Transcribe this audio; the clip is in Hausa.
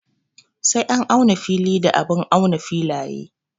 Sai an auna fili da abun auna filaye.